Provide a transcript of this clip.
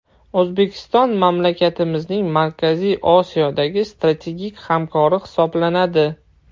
O‘zbekiston mamlakatimizning Markaziy Osiyodagi strategik hamkori hisoblanadi.